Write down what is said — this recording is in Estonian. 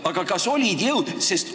Aga kas tal oli selleks jõudu?